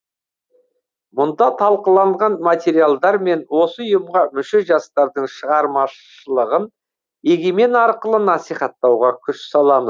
мұнда талқыланған материалдар мен осы ұйымға мүше жастардың шығармашылығын егемен арқылы насихаттауға күш саламы